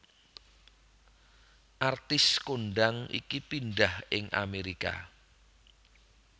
Artis kondhang iki pindhah ing Amerika